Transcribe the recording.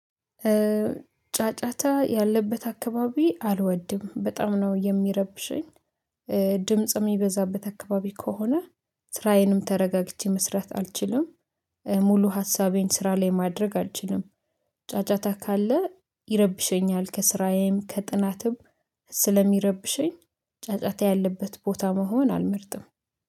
ጫጫታ ያለበት አካባቢ አልወድም በጣም ነው የሚረብሸኝ። ድምጽ የሚበዛበት አካባቢ ከሆነ ስራዬንም ተረጋግቼ መስራት አልችልም። ሙሉ ሀሳቤን ስራ ላይ ማድረግ አልችልም። ጫጫታ ካለ ይረብሸኛል ከስራዬም ከጥናትም ስለሚረብሸኝ ጫጫታ ያለበት ቦታ መሆን አልመርጥም